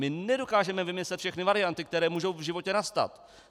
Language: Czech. My nedokážeme vymyslet všechny varianty, které můžou v životě nastat.